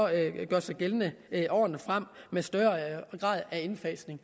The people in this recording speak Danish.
gældende i årene frem med større grad af indfasning